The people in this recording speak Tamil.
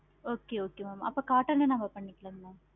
okay okay mam அப்போ cotton ல நம்ம பண்ணிக்கலாம். mam